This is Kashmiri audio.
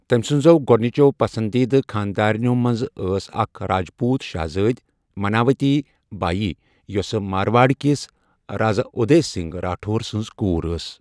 تٔمۍ سٕنزو گۄڈٕنِچَو پسنٛدیٖدٕ خانٛدارِنٮ۪و منٛزٕ ٲس اکھ راجپوٗت شَہزٲدۍ مناوتی بایی یۄس مارواڑکِس رازٕ اُدے سنگھ راٹھور سٕنٛز کوٗر ٲس۔